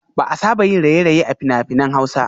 Ba a saba yin raye-raye a fina-finan hausa